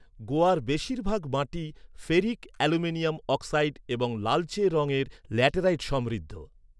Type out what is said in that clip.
গোয়ার বেশিরভাগ মাটি ফেরিক অ্যালুমিনিয়াম অক্সাইড এবং লালচে রঙের ল্যাটেরাইট সমৃদ্ধ।